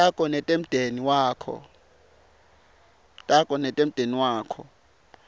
takho netemndeni wakho